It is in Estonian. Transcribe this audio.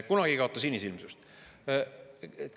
Kunagi ei kaota sinisilmsust.